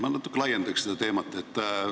Ma natuke laiendaks seda teemat.